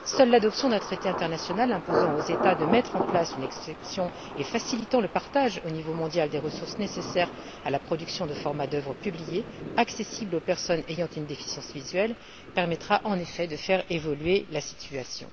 Seule l'adoption d'un traité international imposant aux États de mettre en place une exception et facilitant le partage, au niveau mondial, des ressources nécessaires à la production de formats d'œuvres publiées accessibles aux personnes ayant une déficience visuelle, permettra, en effet, de faire évoluer la situation.